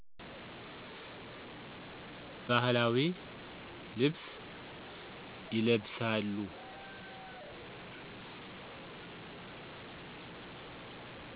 ባህላዊ ልብስ ይለብሳሉ።